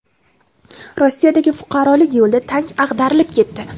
Rossiyadagi fuqarolik yo‘lida tank ag‘darilib ketdi.